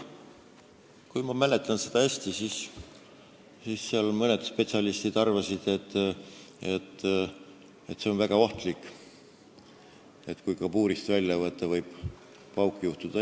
Kui ma õigesti mäletan, siis mõned spetsialistid arvasid, et see on väga ohtlik, et kui kabuurist välja võtta, võib pauk juhtuda.